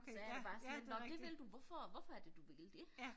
Så jeg bare sådan nåh det vil du hvorfor hvorfor er det du ville det